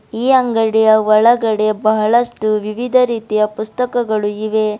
ಈ ಅಂಗಡಿಯ ಒಳಗಡೆ ಬಹಳಷ್ಟು ವಿವಿಧ ರೀತಿಯ ಪುಸ್ತಕಗಳು ಇವೆ.